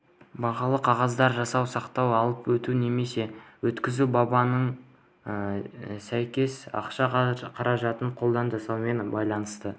бағалы қағаздар жасау сақтау алып өту немесе өткізу бабына сәйкес ақша қаражатын қолдан жасаумен байланысты